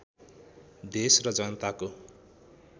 देश र जनताको